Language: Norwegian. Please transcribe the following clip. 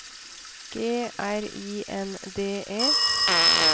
G R I N D E